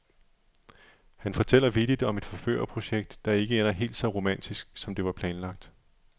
Han fortæller vittigt om et forførerprojekt, der ikke ender helt så romantisk, som det var planlagt.